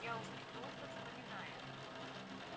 я усмехнулся вспоминая